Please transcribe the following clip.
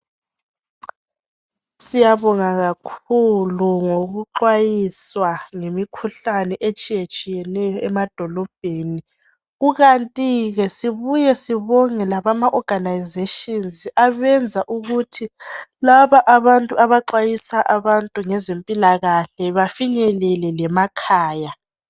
Siyabonga kakhulu ngokuxwayiswa ngemikhuhlane etshiyetshiyeneyo emadolobheni kukanti ke sibuye sibonge ama"organisation" abenza ukuthi laba abantu abaxwayisa abantu ngezempilakahle bafinyelele lemakhaya.